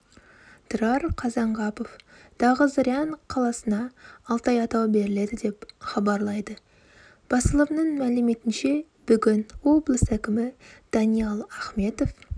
тұрар қазанғапов дағызырян қаласына алтай атауы беріледі деп хабарлайды басылымның мәліметінше бүгін облыс әкімі даниал ахметов